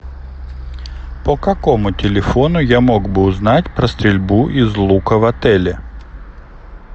по какому телефону я мог бы узнать про стрельбу из лука в отеле